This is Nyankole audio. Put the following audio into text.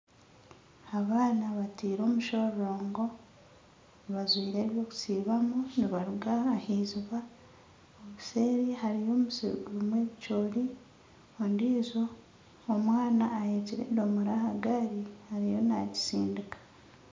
Abaana bataire omushororongo bajwaire eby'okusiibamu nibaruga ah'iziiba obuseeri hariyo omusiri gurimu ebikyoori ondiijo omwana aheekire endoomora aha gaari ariyo nagitsindiika.